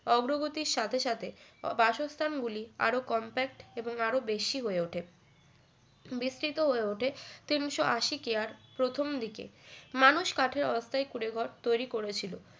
অগ্রগতির সাথে সাথে বাসস্থান গুলি আরও compact এবং আরো বেশি হয়ে ওঠে বিস্তরিত হয়ে ওঠে তিনশো আশি কেয়ার প্রথম দিকে মানুষ কাঠের অস্থায়ী তৈরি করেছিল